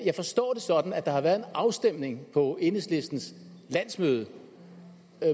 jeg forstår det sådan at der været en afstemning på enhedslistens landsmøde